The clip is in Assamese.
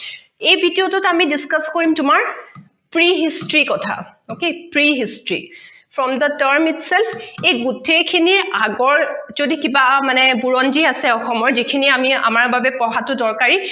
এই video টোত আমি discuss কৰিম তোমাৰ pre history কথা okay pre history from the term itself এই গোটেইখিনিৰ আগৰ যদি কিবা মানে বুৰঞ্জী আছে অসমৰ যিখিনি আমি আমাৰ বাবে পঢ়াটো দৰকাৰি